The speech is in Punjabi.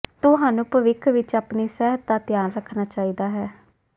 ਤੁਹਾਨੂੰ ਭਵਿੱਖ ਵਿੱਚ ਆਪਣੀ ਸਿਹਤ ਦਾ ਧਿਆਨ ਰੱਖਣਾ ਚਾਹੀਦਾ ਹੈ